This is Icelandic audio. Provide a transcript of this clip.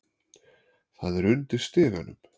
Það er undir stiganum.